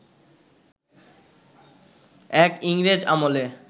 এক ইংরেজ আমলে